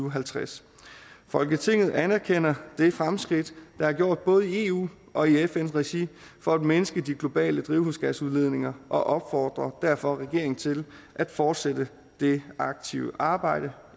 og halvtreds folketinget anerkender det fremskridt der er gjort både i eu og i fn regi for at mindske de globale drivhusgasudledninger og opfordrer derfor regeringen til at fortsætte det aktive arbejde